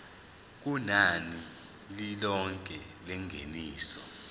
kunani lilonke lengeniso